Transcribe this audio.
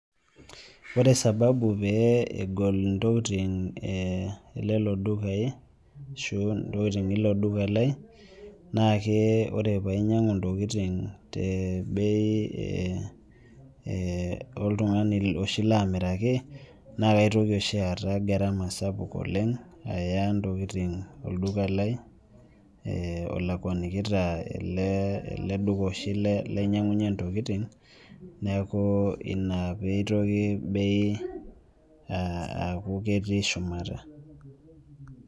Ore sababu pee egol intokiting elelo dukai, ashu intokiting ilo duka lai, naake ore painyang'u ntokiting tebei oltung'ani oshi lamiraki, na kaitoki oshi aata gharama sapuk oleng, aya ntokiting olduka lai, olakwanikita ele duka oshi lainyang'unye ntokiting, neeku ina pitoki bei aku ketii shumata.